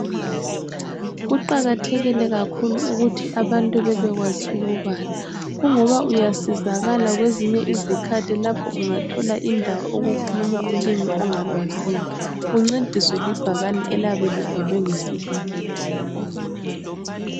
Kuqakathekile kakhulu ukuthi abantu bebekwazi ukubala ,kungoba uyasizakala kwezinye izikhathi lapho ungathola indawo okukhulunywa ulimi ongalwaziyo, uncediswe libhakane eliyabe libhalwe ngesilungu.